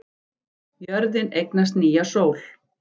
Jörðin eignast nýja sól